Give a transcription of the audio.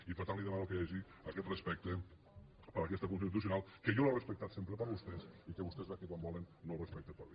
i per tant li demano que hi hagi aquest respecte per aquesta constitucional que jo l’he respectada sempre per vostès i que vostès sap que quan volen no el respecten per mi